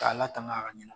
K'a latanga a ka ɲana